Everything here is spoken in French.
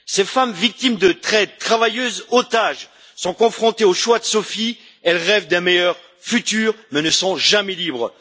Ces femmes victimes de traite, travailleuses, otages, sont confrontées au choix de Sophie, elles rêvent d'un meilleur futur mais ne seront jamais libres.